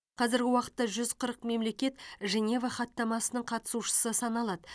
қазіргі уақытта жүз қырық мемлекет женева хаттамасының қатысушысы саналады